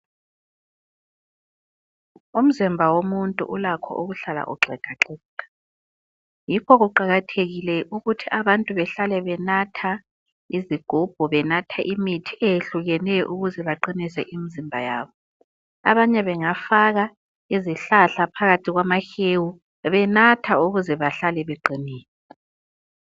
Umzimba womuntu ulakho ukuhlala uxegaxega ,yikho kuqakathekile ukuthi abantu behlale benatha izigubhu ,benathe imithi eyehlukeneyo ukuze baqinise imizimba yabo .Abanye bengafaka izihlahla phakathi kwamahewu benatha ukuze behlale beqinile.